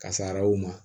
Kasaraw ma